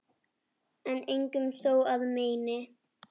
en engum þó að meini